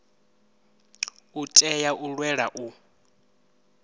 u tea u lwela u